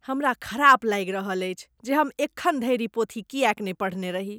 हमरा ख़राब लागि रहल अछि जे हम एखन धरि ई पोथी किएक नहि पढ़ने रही ।